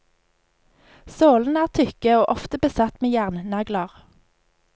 Sålene er tykke og ofte besatt med jernnagler.